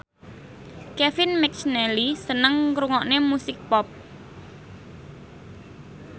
Kevin McNally seneng ngrungokne musik pop